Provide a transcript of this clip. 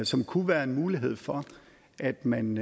som kunne være en mulighed for at man